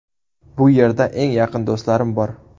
Bu yerda eng yaqin do‘stlarim bor.